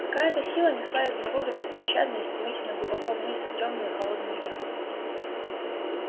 какая-то сила несла изумруда беспощадно и стремительно глубоко вниз в тёмную и холодную яму